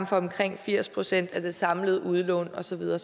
for omkring firs procent af det samlede udlån og så videre